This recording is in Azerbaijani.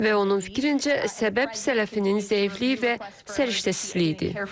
Və onun fikrincə, səbəb sələfinin zəifliyi və səriştəsizliyidir.